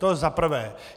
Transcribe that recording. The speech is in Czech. To za prvé.